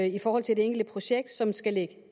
i forhold til det enkelte projekt som skal ligge